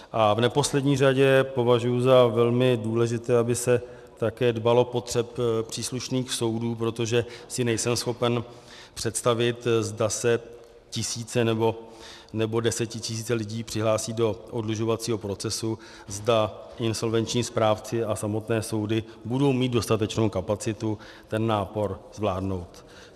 A v neposlední řadě považuji za velmi důležité, aby se také dbalo potřeb příslušných soudů, protože si nejsem schopen představit, zda se tisíce nebo desetitisíce lidí přihlásí do oddlužovacího procesu, zda insolvenční správci a samotné soudy budou mít dostatečnou kapacitu ten nápor zvládnout.